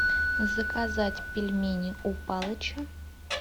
заказать пельмени у палыча